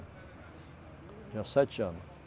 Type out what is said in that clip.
Tinha sete anos.